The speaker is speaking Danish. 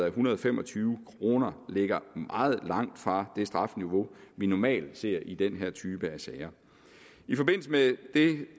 en hundrede og fem og tyve kroner ligger meget langt fra det strafniveau vi normalt ser i den her type af sager i forbindelse med